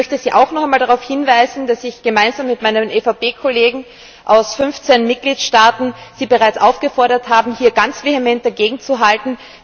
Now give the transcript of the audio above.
Ich möchte Sie auch noch einmal darauf hinweisen, dass ich gemeinsam mit meinen EVP Kollegen aus 15 Mitgliedstaaten Sie bereits aufgefordert habe, hier ganz vehement dagegenzuhalten.